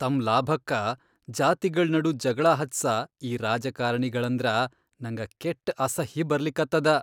ತಮ್ ಲಾಭಕ್ಕ ಜಾತಿಗಳ್ ನಡು ಜಗಳಾ ಹಚ್ಚಸ ಈ ರಾಜಕಾರ್ಣಿಗಳಂದ್ರ ನಂಗ ಕೆಟ್ಟ ಅಸಹ್ಯ್ ಬರ್ಲಿಕತ್ತದ.